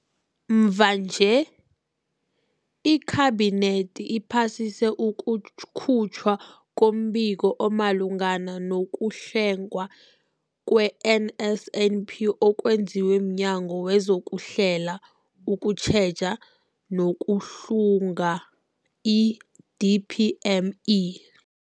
Mvanje, iKhabinethi iphasise ukukhutjhwa kombiko omalungana nokuhlungwa kwe-NSNP okwenziwe mNyango wezokuHlela, ukuTjheja nokuHlunga, i-DPME.